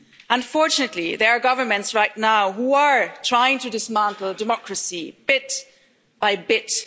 Unfortunately, there are governments right now who are trying to dismantle democracy, bit by bit.